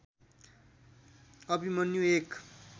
अभिमन्यु एक